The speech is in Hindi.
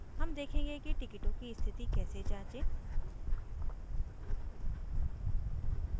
how देखेंगे कि टिकिटों की स्थिति कैसे जाँचें